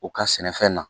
U ka sɛnɛfɛn na